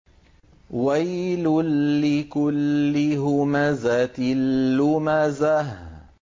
وَيْلٌ لِّكُلِّ هُمَزَةٍ لُّمَزَةٍ